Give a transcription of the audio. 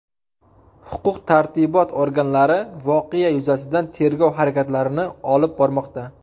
Huquq-tartibot organlari voqea yuzasidan tegrov harakatlarini olib bormoqda.